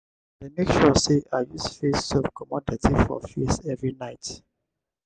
i dey make sure sey i use face soap comot dirty for face every night.